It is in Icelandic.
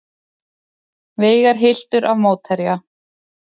Veigar hylltur af mótherja